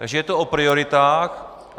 Takže je to o prioritách.